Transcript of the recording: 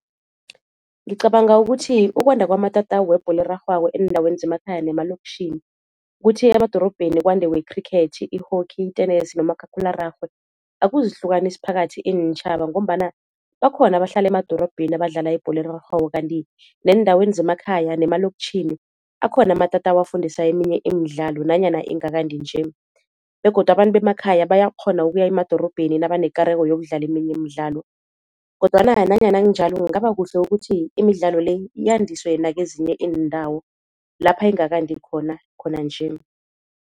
Ngicabanga ukuthi ukwanda kwamatatawu webholo erarhwako eendaweni zemakhaya nemalokitjhini kuthi emadorobheni kwande wekhrikhethi, i-hockey, itenesi nomakhakhulararhwe akuzihlukanisi phakathi iintjhaba ngombana bakhona abahlala emadorobheni abadlala ibholo erarhwako. Kanti neendaweni zemakhaya nemalokitjhini akhona amatatawu afundisa eminye imidlalo nanyana ingakandi nje, begodu abantu bemakhaya bayakghona ukuya emadorobheni nabanekareko yokudlala eminye imidlalo, kodwana nanyana kunjalo kungaba kuhle ukuthi imidlalo le yandiswe nakezinye iindawo lapha ingakandi khona, khona nje.